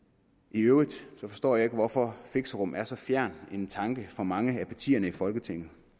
i øvrigt forstår jeg ikke hvorfor fixerum er så fjern en tanke for mange af partierne i folketinget